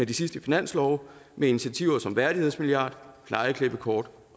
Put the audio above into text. de sidste finanslove med initiativer som værdighedsmilliard plejeklippekort